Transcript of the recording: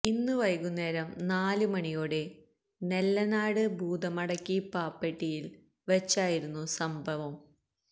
ഇന്ന് വൈകുന്നേരം നാല് മണിയോടെ നെല്ലനാട് ഭൂതമടക്കി പ്ലാപ്പെട്ടിയില് വച്ചായിരുന്നു സംഭവം